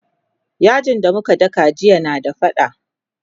yajin da muka daka jiya na da faɗa